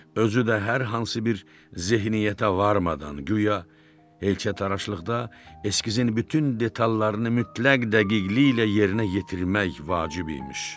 Özü də hər hansı bir zehnniyyətə varmadan, guya heykəltaraşlıqda eskizin bütün detallarını mütləq dəqiqliklə yerinə yetirmək vacib imiş.